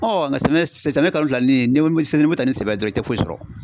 nka samiya samiya kalo fila ni ni mo ta ni sɛbɛ dɔrɔn i tɛ foyi sɔrɔ.